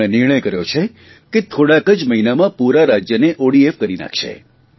અને તેમણે નિર્ણય કર્યો છે કે થોડાક જ મહિનામાં પૂરા રાજયને ઓડીએફ કરી નાખશે